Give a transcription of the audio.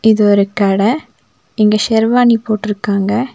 இது ஒரு கட இங்க செர்வாணி போட்றுக்காங்க.